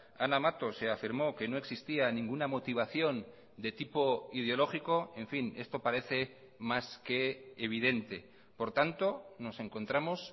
ana mato se afirmó que no existía ninguna motivación de tipo ideológico en fin esto parece más que evidente por tanto nos encontramos